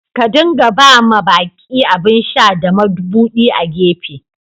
Ka dinga ba ma baki abin sha da mabudi a'gefe.